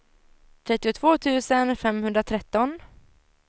trettiotvå tusen femhundratretton